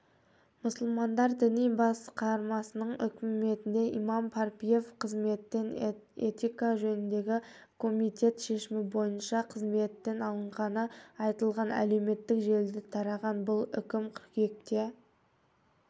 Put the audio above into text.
мұсылмандар діни басқармасының үкімінде имам парпиев қызметтен этика жөніндегі комитет шешімі бойынща қызметтен алынғаны айтылған әлеуметтік желіде тараған бұл үкім қыркүйекте